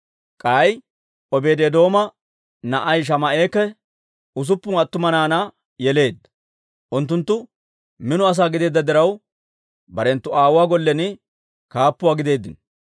K'ay Obeedi-Eedooma na'ay Shamaa'ekka usuppun attuma naanaa yeleedda; unttunttu mino asaa gideedda diraw, barenttu aawuwaa gollen kaappuwaa gideeddino.